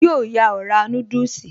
Yóò yọ ọ̀rá núdùsì